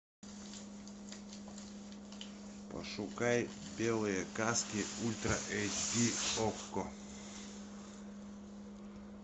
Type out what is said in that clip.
пошукай белые каски ультра эйч ди окко